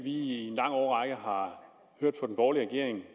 i en lang årrække har hørt fra den borgerlige regering